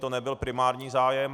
To nebyl primární zájem.